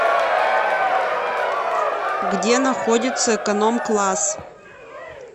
где находится эконом класс